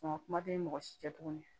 kuma tɛ ni mɔgɔ si tɛ tuguni